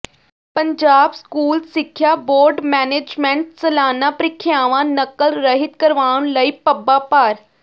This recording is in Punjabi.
ਪੰਜਾਬ ਸਕੂਲ ਸਿੱਖਿਆ ਬੋਰਡ ਮੈਨੇਜਮੈਂਟ ਸਾਲਾਨਾ ਪ੍ਰੀਖਿਆਵਾਂ ਨਕਲ ਰਹਿਤ ਕਰਵਾਉਣ ਲਈ ਪੱਬਾਂ ਭਾਰ